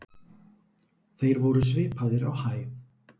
Þeir voru svipaðir á hæð.